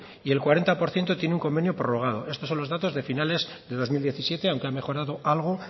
y el cuarenta por ciento tiene un convenio prorrogado esto son los datos de finales de dos mil diecisiete aunque ha mejorado algo